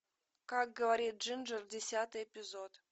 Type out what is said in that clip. как говорит джинджер десятый эпизод